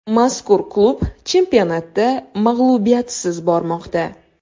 Mazkur klub chempionatda mag‘lubiyatsiz bormoqda.